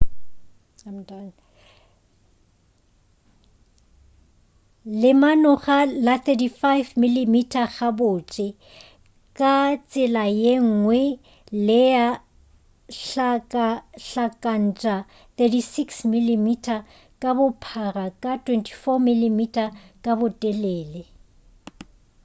lemanoga la 35mm gabotse ka tsela yengwe lea hlakahlakantša 36mm ka bophara ka 24mm ka botelele